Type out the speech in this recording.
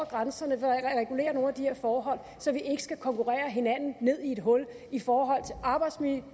grænserne regulerer nogle af de her forhold så vi ikke skal konkurrere hinanden ned i et hul i forhold til arbejdsmiljø